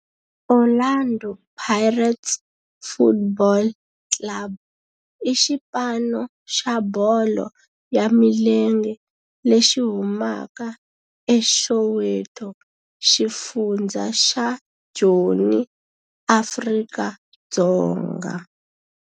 Orlando Pirates Football Club i xipano xa bolo ya milenge lexi humaka eSoweto, xifundzha xa Joni, Afrika-Dzonga.